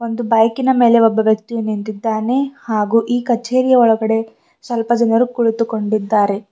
ಒಂದು ಬೈಕ್ ಇನ ಮೇಲೆ ಒಬ್ಬ ವ್ಯಕ್ತಿ ನಿಂತಿದ್ದಾನೆ ಹಾಗೂ ಈ ಕಚೇರಿಯ ಒಳಗಡೆ ಸ್ವಲ್ಪ ಜನರು ಕುಳಿತುಕೊಂಡಿದ್ದಾರೆ.